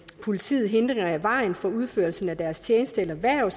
politiet hindringer i vejen for udførelsen af deres tjeneste eller hverv